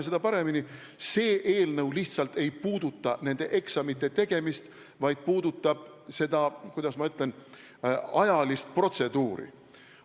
See eelnõu ei puuduta nende eksamite tegemist, vaid puudutab seda – kuidas ma ütlen?